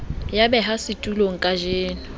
ya behwang setulong kajeno ke